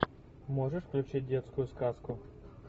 можешь включить детскую сказку